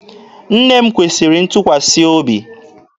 Nne m kwesịrị ntụkwasị obi.